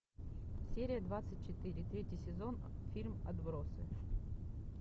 серия двадцать четыре третий сезон фильм отбросы